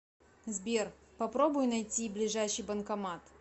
сбер попробуй найти ближайший банкомат